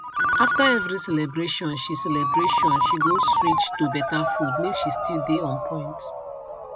after every celebration she celebration she go switch to better food make she still dey on point